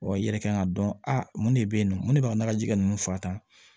i yɛrɛ kan k'a dɔn a mun de bɛ ye nɔ mun ne b'a ka naji kɛ ninnu fa ta